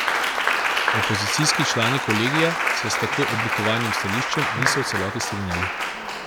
Opozicijski člani kolegija se s tako oblikovanim stališčem niso v celoti strinjali.